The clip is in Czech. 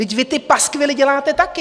Vždyť vy ty paskvily děláte taky!